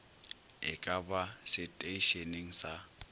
e ka ba seteišeneng sa